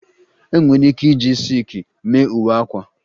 E nwere ike iji silki mee uwe akwa